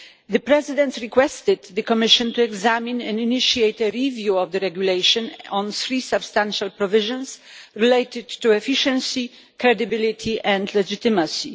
The Presidents requested the Commission to examine and initiate a review of the regulation on three substantial provisions related to efficiency, credibility and legitimacy.